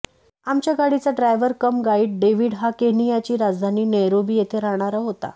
आमच्या गाडीचा driver cum guide David हा केनियाची राजधानी नैरोबी येथे राहणारा होता